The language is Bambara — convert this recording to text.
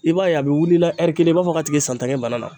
I b'a ye a bɛ wuli la kelen i b'a fɔ ka tigi ye san tan kɛ bana na.